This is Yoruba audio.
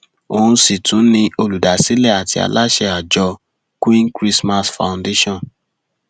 òun sì tún ni olùdásílẹ àti aláṣẹ àjọ queen christmas foundation